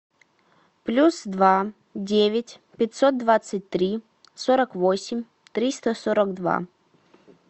плюс два девять пятьсот двадцать три сорок восемь триста сорок два